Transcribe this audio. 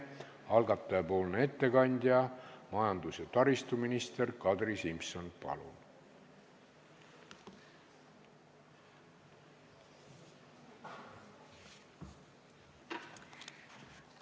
Algataja ettekandja majandus- ja taristuminister Kadri Simson, palun!